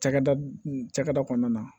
Cakɛda cakɛda kɔnɔna na